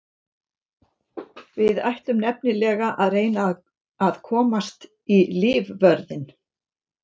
Við ætlum nefnilega að reyna að komast í lífvörðinn.